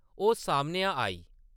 ओह् सामनेआ आई ।